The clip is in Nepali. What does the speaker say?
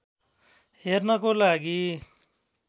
हेर्नको लागि